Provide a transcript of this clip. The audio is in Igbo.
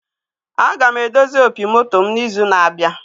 Aga m edozi opi moto mụ na izu na abịa